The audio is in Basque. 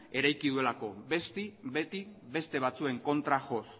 eraiki duelako beti beste batzuen kontra joz